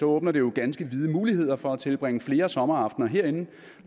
åbner det jo ganske vide muligheder for at tilbringe flere sommeraftener herinde